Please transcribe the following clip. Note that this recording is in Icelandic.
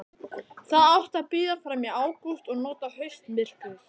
Það átti að bíða fram í ágúst og nota haustmyrkrið.